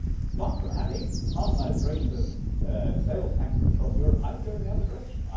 Far from having harmonised rates of sales taxes across Europe, I would go in the other direction.